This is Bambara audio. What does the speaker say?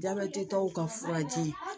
Jabɛti tɔw ka furaji